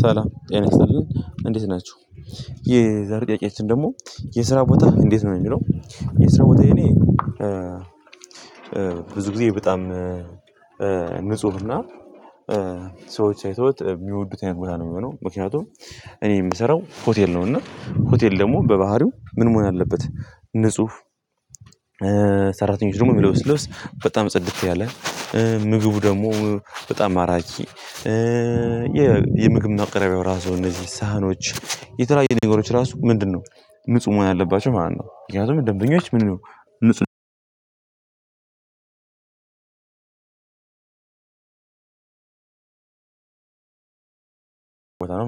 ሰላም ጤና ይስጥልን። እንዴት ናችሁ። የዛር ጥያቄያችን ደግሞ የስራ ቦታ እንዴት ነው? የሚለው የስራ ቦታዬ የኔ ብዙ ጊዜ በጣም ንጹህ እና ሰዎች አይተውት የሚወዱት አይነት ቦታ ነው የሚሆነው። ምክንያቱም እኔ የምሰራው ሆቴል ነው እና ሆቴል ደግሞ በባህሪው ምን መሆን አለበት ንጹህ ሰራተኞች ደግሞ የሚለብሱት ልብስ በጣም ጽድት ያለ። ምግቡ ደግሞ በጣም አራኪ። የምግብ ማቅረቢያው ራሱ እነዚህ ሳህኖች የተለያየ ነገሮች ራሱ ምንድነው ንጹህ መሆን አለባቸው ማለት ነው። ምክንያቱም ደንበኞች ምንድነው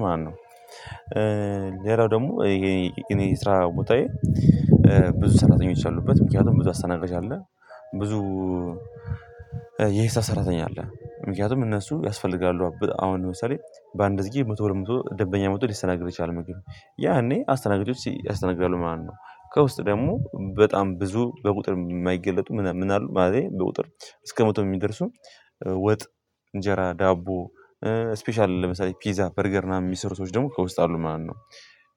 ማለትነው ሌላው ደግሞ የእኔ ስራ ቦታዬ ብዙ ሰራተኞች አሉበት። ምክንያቱም ብዙ አስተናጋጅ አለ። ብዙ የሂሳብ ሰራተኛ አለ። ምክንያቱም እነሱ ያስፈልጋሉሀ። አሁን ለምሳሌ በአንድ ግዜ መቶ ሁለት መቶ ደንበኛ መጥቶ ሊስተናገድ ይችላል ምግብ። ያኔ አስተናጋጆች ያስተናግዳሉ ማለት ነው። ከውስጥ ደግሞ በጣም ብዙ በቁጥር የማይገለጡ ምን ምን አሉ ማለቴ በቁጥር እስከ መቶ የሚደርሱ ወጥ፣ እንጀራ፣ ዳቦ፣ ስፔሻል ለምሳሌ ፒዛ በርገር እና የሚሰሩ ሰዎች ደግሞ ከውስጥ አሉ ማለት ነው።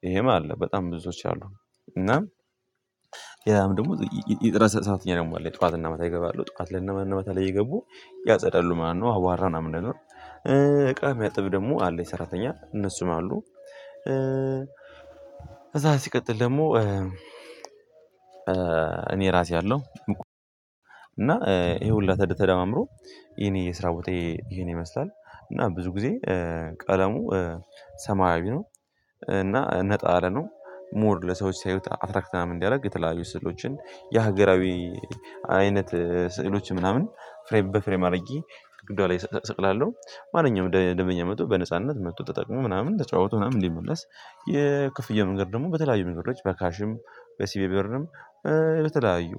ይሄም አለ በጣም ብዙ ሰዎች አሉ። እና ሌላም ደግሞ የጥራት ሰዓትም አለን ጧትና ማታ ይገባሉ። ጠዋት እና ማታ ላይ እየገቡ ያጸደሉ ማለት ነው። አቧራ ምናምኑን እቃ የሚያጥብ ደግሞ አለች ሰራተኛ። እነሱም አሉ። ከዛ ሲቀጥል ደግሞ እኔ ራሴ አለሁ እና ይሄ ሁሉ ተደማምሮ የኔ የስራ ቦታዬ ይሄን ይመስላል። እና ብዙ ጊዜ ቀለሙ ሰማያዊ ነው እና ነጣ ያለ ነው። 'ሞር' ለሰዎች ሲያዩት 'አትራክት' ምናምን እንዲያዩት የተለያዩ ስዕሎችን የሀገራዊ አይነት ስዕሎች ምናምን ፍሬም በፍሬም አድርጌ ግድግዳ ላይ እሰቅላለሁ። ማንኛውም ደንበኛ መጥቶ በነጻነት መጥቶ ተጠቅሞ ምናምን ተጨዋውቶ ምናምን እንዲመለስ የክፍያ መንገዱ ደግሞ በተለያዩ መንገዶዎች በካሽም በሲቢብርም በተለያዩ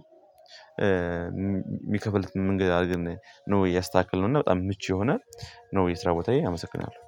የሚከፍሉት መንገድ አድርገን ነው ያስተካከልነው እና በጣም ምቹ የሆነ ነው የስራ ቦታዬ። አመስግናለሁ።